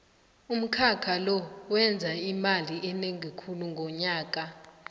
umkhakha lo wenza imali enengi khulu ngonyaka